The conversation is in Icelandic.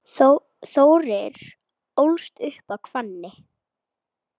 Þórir ólst upp í Hvammi.